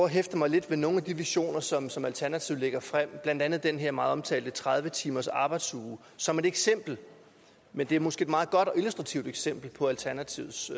hæfte mig lidt ved nogle af de visioner som som alternativet lægger frem blandt andet den her meget omtalte tredive timersarbejdsuge som et eksempel men det er måske et meget godt og illustrativt eksempel på alternativets